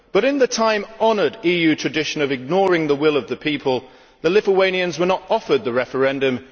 But in the time honoured EU tradition of ignoring the will of the people, the Lithuanians were not offered a referendum.